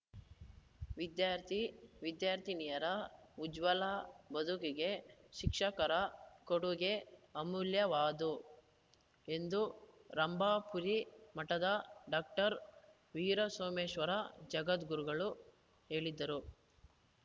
ವಿದ್ಯಾರ್ಥಿವಿದ್ಯಾರ್ಥಿನಿಯರ ಉಜ್ವಲ ಬದುಕಿಗೆ ಶಿಕ್ಷಕರ ಕೊಡುಗೆ ಅಮೂಲ್ಯವಾದು ಎಂದು ರಂಭಾಪುರಿ ಮಠದ ಡಾಕ್ಟರ್ ವೀರಸೋಮೇಶ್ವರ ಜಗದ್ಗುರು ಹೇಳಿದರು